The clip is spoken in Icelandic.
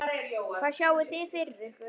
Hvað sjáið þið fyrir ykkur?